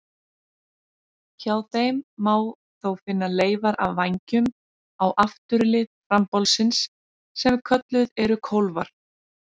Hjá þeim má þó finna leifar af vængjum á afturlið frambolsins sem kölluð eru kólfar.